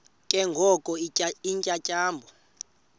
ke ngoko iintyatyambo